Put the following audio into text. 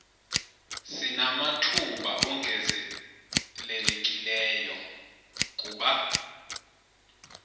sinamathuba ongezelelekileyo kuba